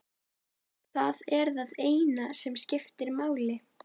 Það er það eina sem skiptir máli.